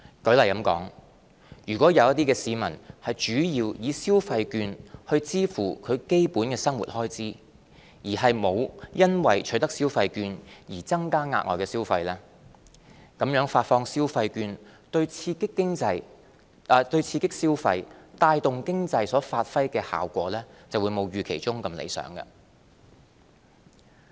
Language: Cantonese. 舉例說，如果有些市民主要以消費券去支付基本生活開支，而沒有因為取得消費券而增加額外消費，那麼發放消費券對刺激消費、帶動經濟所發揮的效果就會沒有預期中那樣理想。